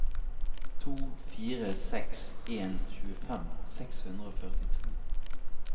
to fire seks en tjuefem seks hundre og førtito